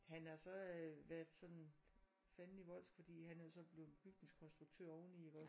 Han har så øh været sådan fandenivoldsk fordi han er jo så blevet bygningskonstruktør oven i iggås